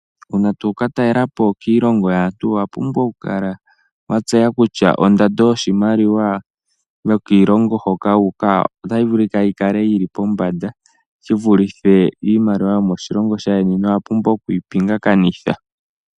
Uuna tokatalelapo kiilongo yaantu owapumbwa okukala watseya kutya ondando yiimaliwa yokiilongo hoka wuuka otayi vulu yikale yili pombanda shivulithe iimaliwa yomoshilongo shaayeni nowapumbwa okuyi pinga kanitha.